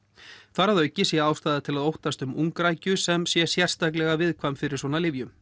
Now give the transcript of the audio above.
þar að auki sé ástæða til að óttast um sem sé sértaklega viðkvæm fyrir svona lyfjum